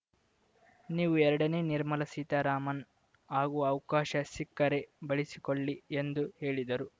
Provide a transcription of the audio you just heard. ನೀವು ಎರಡನೇ ನಿರ್ಮಲಾ ಸೀತಾರಾಮನ್‌ ಆಗುವ ಅವಕಾಶ ಸಿಕ್ಕರೆ ಬಳಸಿಕೊಳ್ಳಿ ಎಂದು ಹೇಳಿದರು